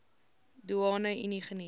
doeane unie geniet